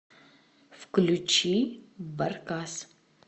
включи баркас